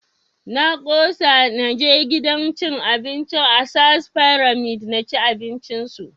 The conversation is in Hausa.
Na ƙosa na je gidan cin abincin ASAA fyramid na ci abinci su